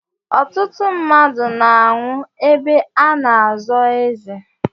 Ọtụtụ mmadụ na-anwụ ebe a na-azọ eze.